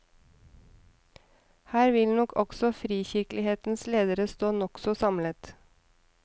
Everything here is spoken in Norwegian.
Her vil nok også frikirkelighetens ledere stå nokså samlet.